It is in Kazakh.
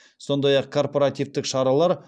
сондай ақ корпоративтік шаралар